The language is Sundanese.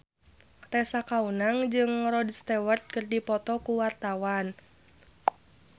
Tessa Kaunang jeung Rod Stewart keur dipoto ku wartawan